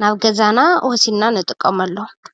ናብ ገዛና ወሲድና ንጥቀመሎም፡፡